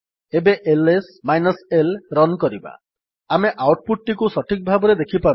ଏବେ LS minus l run କରିବା ଆମେ ଆଉଟ୍ ପୁଟ୍ ଟିକୁ ସଠିକ ଭାବରେ ଦେଖିପାରୁନେ